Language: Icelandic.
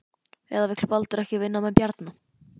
Eða vill Baldur ekki vinna með Bjarna?